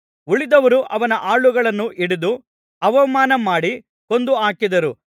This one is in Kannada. ಉಳಿದವರು ಅವನ ಆಳುಗಳನ್ನು ಹಿಡಿದು ಅವಮಾನಮಾಡಿ ಕೊಂದು ಹಾಕಿದರು